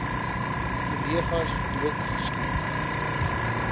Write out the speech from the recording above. kollegas dood geskiet